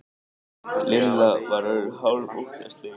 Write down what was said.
Lilla var orðin hálf óttaslegin.